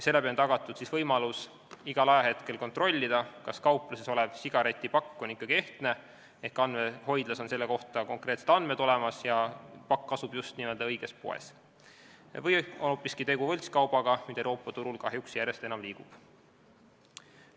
Seeläbi on tagatud võimalus igal hetkel kontrollida, kas kaupluses olev sigaretipakk on ikkagi ehtne ehk andmehoidlas on selle kohta konkreetsed andmed olemas ja pakk asub just n-ö õiges poes või on hoopiski tegu võltskaubaga, mida Euroopa Liidu turul kahjuks järjest enam liigub.